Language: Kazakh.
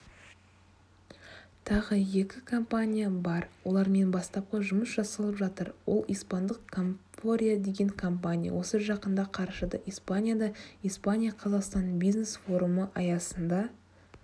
тағы екі компания бар олармен бастапқы жұмыс жасалып жатыр ол испандық комфоприо деген компания осы жақында қарашада испанияда испания-қазақстан бизнес-форумы аясында